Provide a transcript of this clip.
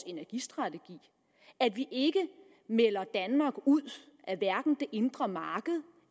energistrategi at vi ikke melder danmark ud af hverken det indre marked